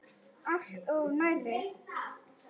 Alltof nærri.